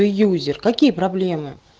фьюзер какие проблемы